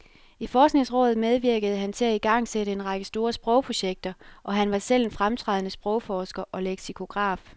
I forskningsrådet medvirkede han til at igangsætte en række store sprogprojekter, og han var selv en fremtrædende sprogforsker og leksikograf.